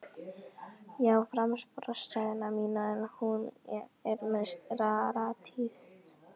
Ég á framboðsræðuna mína enn og hún er mesta rarítet.